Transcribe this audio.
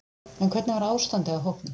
En hvernig var ástandið á hópnum?